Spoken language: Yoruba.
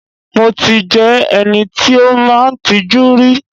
Mo ti jẹ́ ẹni tí ó máa ń tijú rí.